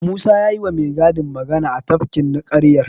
Musa ya yiwa mai gadin magana a tafkin ninƙayar.